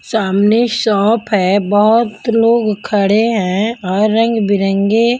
सामने शॉप है बहोत लोग खड़े हैं और रंग बिरंगे--